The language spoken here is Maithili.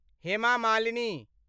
हेमा मालिनी